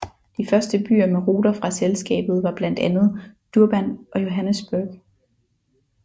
De første byer med ruter fra selskabet var blandt andet Durban og Johannesburg